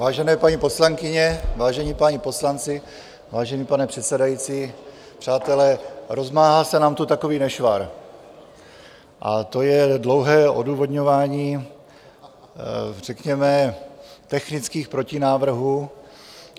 Vážené paní poslankyně, vážení páni poslanci, vážený pane předsedající, přátelé, rozmáhá se nám tu takový nešvar, a to je dlouhé odůvodňování řekněme technických protinávrhů.